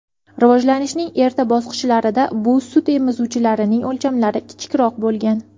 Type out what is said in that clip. Rivojlanishning erta bosqichlarida bu sutemizuvchilarning o‘lchamlari kichikroq bo‘lgan.